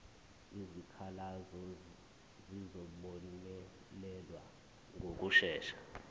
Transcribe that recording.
izikhalazo zizobonelelwa ngokushesha